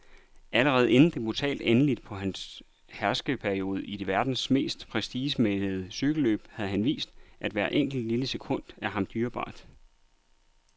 Allerede inden det brutale endeligt på hans herskerperiode i verdens mest prestigemættede cykelløb havde han vist, at hvert enkelt, lille sekund er ham dyrebart.